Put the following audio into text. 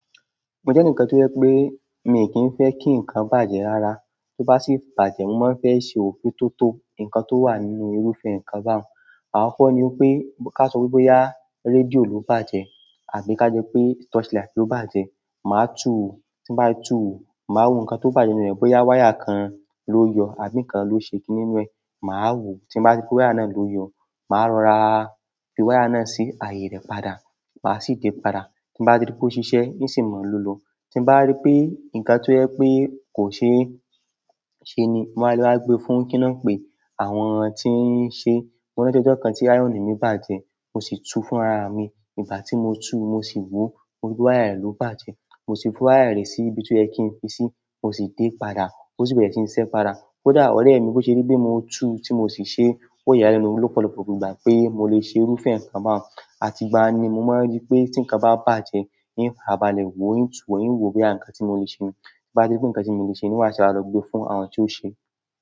Mo jẹ́ ẹnì kan tó yẹ pé mi kìn fẹ́ kí nǹkan bàjẹ́ rara. To ba si bàjẹ́, mo maa n fe se òfin toto ǹkan tó wà nínú irúfin ǹkan báun, àkoko ní pé ká sọ wípé bóyá rédíò ló bàjẹ́ àbí ká jẹ́ pé torchlight ló bàjẹ́. Màá túu. Tin bá ti tú wo, màá wo ǹkan tó bàjẹ́ nínú rẹ̀. Bóyá wire kan ló yọ àbí ǹkan ló ṣe kini nú ẹ. Màá wò. Tín bá rí pé wire náà ló yọ, màá rọra fi wire náà sí àyè rẹ̀ padà. Màá sì dé padà. Tín bá ti rí pé ó ṣiṣẹ́, n sì mo lọ́lọ́. Tín bá rí pé ǹkan tó yẹ pé kò ṣe ṣe ni, mo wá le wa gbe fún kíná pé àwọn tí ń ṣe. Mo rántí ọjọ́ kan tí ironì mi bàjẹ́, mo sì tú fún ara mi. Ìgbà tí mo tú, mo sì wò, mo ri pe wire ẹ̀ ló bàjẹ́. Mo sì fi wire rẹ̀ sí ibi tó yẹ kín fi sí. Mo sì dé padà. Ó sì bẹ̀rẹ̀ sí ń ṣiṣẹ́ padà. Kódà ọ̀rẹ́ mi bó ṣe rí pé mo tú tí mo sì ṣe, ó yà mí lẹ́nu lọ́pọ̀lọpọ̀ ìgbà pé mo lè ṣe irúfẹ́ ǹkan báuń. Àti gba ni mo máa ń rí pé tí ǹkan bá bàjẹ́, i ń farabalẹ̀ wò, ì ń tú wo, ì ń wò boya nkan tí mo le ṣe ni. Tí n bá ti rí pé ǹkan tí mo le ṣe ní, wá sì wa lọ gbe fún àwọn tí ó ṣe.